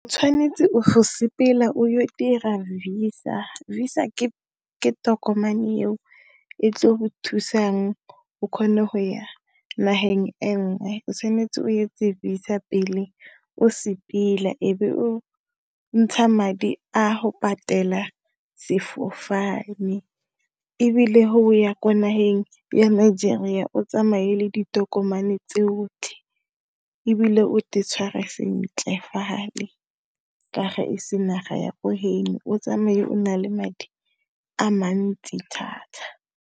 O tshwanetse o sepela o dira VISA. VISA ke tokomane eo e tlo go thusang o kgone go ya nageng enngwe. O tshwanetse o etse VISA pele o sepela, e be o ntsha madi a go patela sefofane, ebile ho ya ko nageng ya Nigeria o tsamaye le ditokomane tsotlhe, ebile o te tshware sentle fale, ka ga ese naga ya ko heno. O tsamaye o na le madi a mantsi thata.